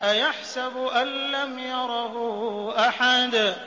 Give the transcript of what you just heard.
أَيَحْسَبُ أَن لَّمْ يَرَهُ أَحَدٌ